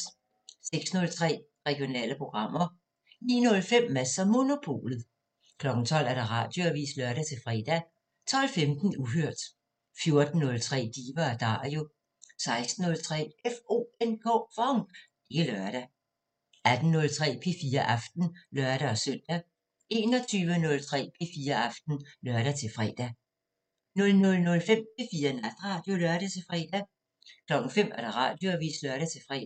06:03: Regionale programmer 09:05: Mads & Monopolet 12:00: Radioavisen (lør-fre) 12:15: Uhørt 14:03: Diva & Dario 16:03: FONK! Det er lørdag 18:03: P4 Aften (lør-søn) 21:03: P4 Aften (lør-fre) 00:05: P4 Natradio (lør-fre) 05:00: Radioavisen (lør-fre)